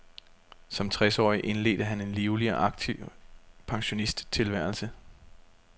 Som tres årig indledte han en livlig og aktiv pensionisttilværelse.